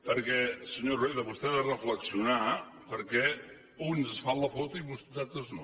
perquè senyor rueda vostè ha de reflexionar per què uns es fan la foto i uns altres no